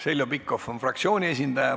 Heljo Pikhof, palun!